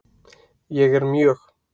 Ég er mjög